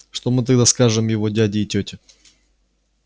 что мы тогда скажем его дяде и тете